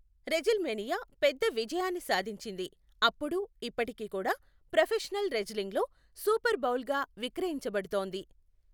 WrestleMania పెద్ద విజయాన్ని సాధించింది, అప్పుడు, ఇప్పటికీ కూడా ప్రొఫెషనల్ రెజ్లింగ్లో సూపర్ బౌల్గా విక్రయించబడుతోంది.